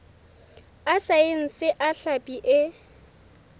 a saense a hlapi e